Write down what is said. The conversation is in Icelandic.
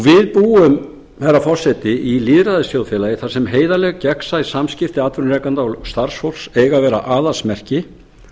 við búum herra forseti í lýðræðisþjóðfélagi þar sem heiðarleg gegnsæ samskipti atvinnurekanda og starfsfólks eiga að vera aðalsmerki